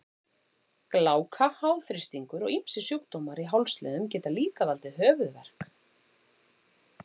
Gláka, háþrýstingur og ýmsir sjúkdómar í hálsliðum geta líka valdið höfuðverk.